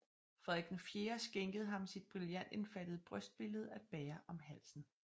Frederik IV skænkede ham sit brillantindfattede brystbillede at bære om halsen